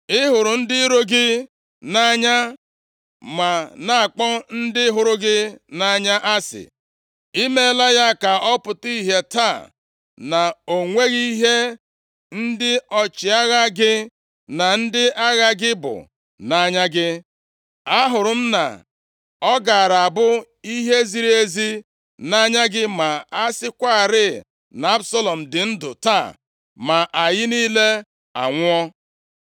Ị hụrụ ndị iro gị nʼanya, ma na-akpọ ndị hụrụ gị nʼanya asị. I meela ya ka ọ pụta ìhè taa na o nweghị ihe ndị ọchịagha gị na ndị agha gị bụ nʼanya gị. Ahụrụ m na ọ gaara abụ ihe ziri ezi nʼanya gị ma a sịkwarị na Absalọm dị ndụ taa, ma anyị niile anwụọ.